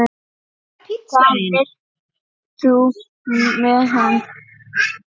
Hvað vilt þú með hann?